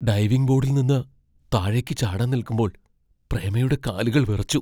Diving ബോഡിൽ നിന്ന് താഴേക്ക് ചാടാൻ നിൽക്കുമ്പോൾ പ്രേമയുടെ കാലുകൾ വിറച്ചു.